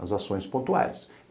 As ações pontuais.